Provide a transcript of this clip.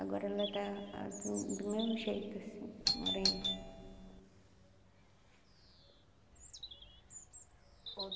Agora ela está a do do meu jeito, assim, morena.